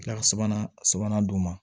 Kila ka sabanan sabanan dun